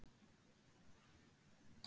Fréttamaður: Þú talar um dómsmál?